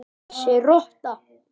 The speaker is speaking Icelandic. Þessi rotta!